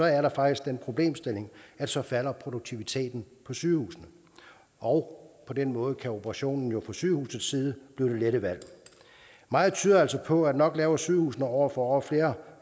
er der faktisk den problemstilling at så falder produktiviteten på sygehusene og på den måde kan operationen jo fra sygehusets side blive det lette valg meget tyder altså på at nok laver sygehusene år for år flere